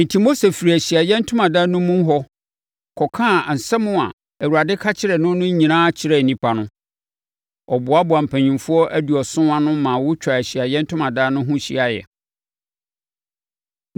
Enti Mose firii Ahyiaeɛ Ntomadan no mu hɔ kɔkaa nsɛm a Awurade ka kyerɛɛ no no nyinaa kyerɛɛ nnipa no. Ɔboaboaa mpanimfoɔ aduɔson ano ma wɔtwaa Ahyiaeɛ Ntomadan no ho hyiaeɛ.